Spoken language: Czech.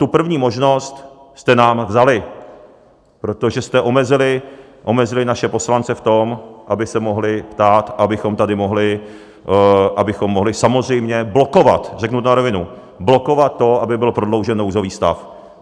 Tu první možnost jste nám vzali, protože jste omezili naše poslance v tom, aby se mohli ptát, abychom tady mohli samozřejmě blokovat, řeknu to na rovinu, blokovat to, aby byl prodloužen nouzový stav.